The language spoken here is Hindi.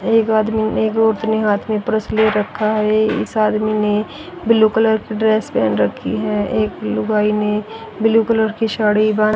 एक आदमी ने एक अपने हाथ मे प्रेस ले रखा है इस आदमी ने ब्लू कलर की ड्रेस पहन रखी है एक लुगाई ने ब्ल्यू कलर की साड़ी बां--